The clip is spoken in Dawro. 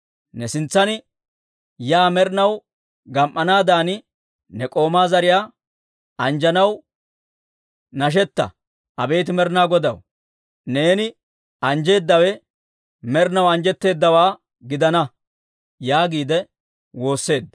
Ne sintsan yaa med'inaw gam"anaadan, ne k'oomaa zariyaa anjjanaw nashetta. Abeet Med'inaa Godaw, neeni anjjeedawe med'inaw anjjetteddawaa gidana» yaagiide woosseedda.